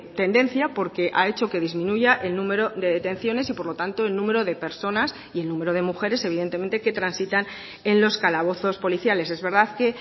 tendencia porque ha hecho que disminuya el número de detenciones y por lo tanto el número de personas y el número de mujeres evidentemente que transitan en los calabozos policiales es verdad que